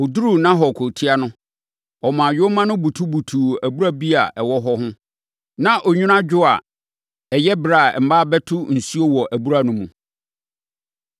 Ɔduruu Nahor kurotia no, ɔmaa nyoma no butubutuu abura bi a ɛwɔ hɔ ho. Na onwunu adwo a ɛyɛ ɛberɛ a mmaa bɛto nsuo wɔ abura no mu.